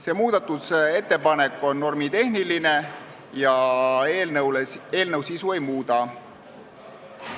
See muudatusettepanek on normitehniline ja eelnõu sisu ei muuda.